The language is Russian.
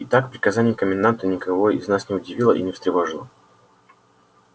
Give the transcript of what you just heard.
итак приказание коменданта никого из нас не удивило и не встревожило